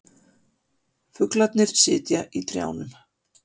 Fuglarnir sitja í trjánum.